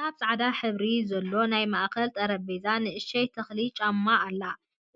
ኣብ ፃዕዳ ሕብሪ ዘለዎ ናይ ማእከል ጠረጴዛ ንእሽተይ ተክልን ጫማን ኣላ።